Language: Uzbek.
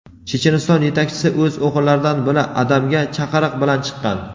Checheniston yetakchisi o‘z o‘g‘illaridan biri – Adamga chaqiriq bilan chiqqan.